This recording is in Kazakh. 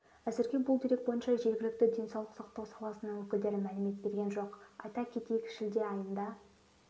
әзірге бұл дерек бойынша жергілікті денсаулық сақтау саласының өкілдері мәлімет берген жоқ айта кетейік шілде айында